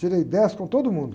Tirei dez com todo mundo.